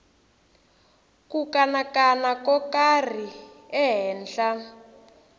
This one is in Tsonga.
ku kanakana ko karhi ehenhla